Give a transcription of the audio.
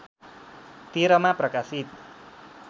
१३ मा प्रकाशित